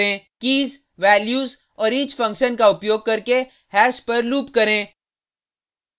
keys values और each function का उपयोग करके हैश पर लूप करें